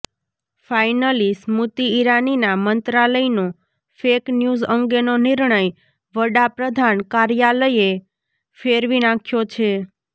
finally Smriti ઇરાનીના મંત્રાલયનો fake news અંગેનો નિર્ણય વડાપ્રધાન કાર્યાલયે ફેરવી નાંખ્યો છે